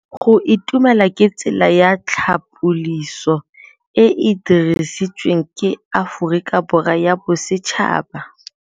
Go itumela ke tsela ya tlhapolisô e e dirisitsweng ke Aforika Borwa ya Bosetšhaba.